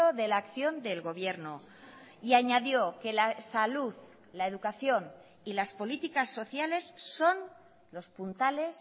de la acción del gobierno y añadió que la salud la educación y las políticas sociales son los puntales